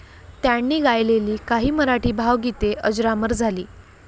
त्यांनी गायलेली काही मराठी भावगीते अजरामर झाली.